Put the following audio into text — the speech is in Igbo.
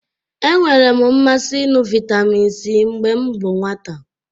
E nwere m mmasị ịṅụ vitamin C mgbe m bụ nwata